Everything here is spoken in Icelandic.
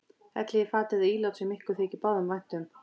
Hellið í fat eða ílát sem ykkur þykir báðum vænt um.